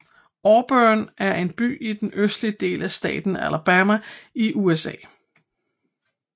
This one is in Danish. Auburn er en by i den østlige del af staten Alabama i USA